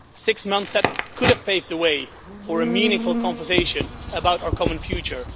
six months that could have paved the way for a meaningful conversation about our common future